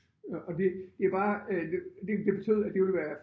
Og og det det bare øh det det det betød at det ville være